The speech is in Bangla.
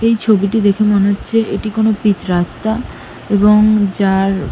এই ছবিটি দেখে মনে হচ্ছে এটি কোন পিচ রাস্তা এবং যার--